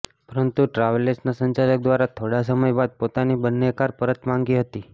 પરંતુ ટ્રાવેલ્સનાં સંચાલક દ્વારા થોડા સમય બાદ પોતાની બંને કાર પરત માંગી હતી